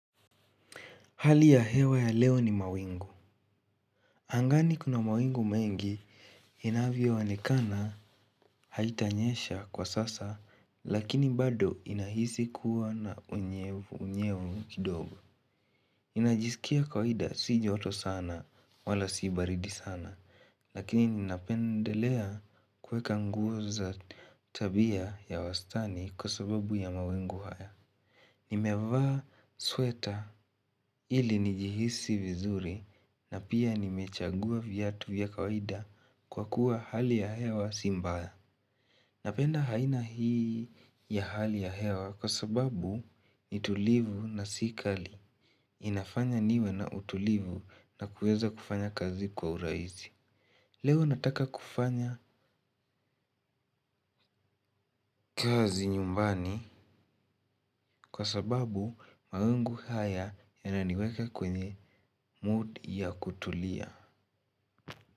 Hali ya hewa ya leo ni mawingu. Angani kuna mawingu mengi. Inavyoonekana haijanyesha kwa sasa, lakini bado inahisi kuwa na unyevunyevu kidogo. Ninajisikia kawaida, si joto sana wala si baridi sana, lakini ninapendelea kuvaa nguo za wastani kwa sababu ya mawingu haya. Nimevaa sweta ili nijihisi vizuri na pia nimechagua viatu vya kawaida kwa kuwa hali ya hewa si mbaya. Napenda aina hii ya hali ya hewa kwa sababu ni tulivu na si kali. Inafanya niwe na utulivu na kuweza kufanya kazi kwa urahisi. Leo nataka kufanya kazi nyumbani kwa sababu mawingu haya yananiweka kwenye mood ya kutulia.